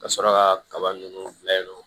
Ka sɔrɔ ka kaba ninnu bila yen nɔ